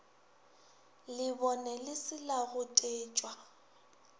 lebone le se la gotetšwa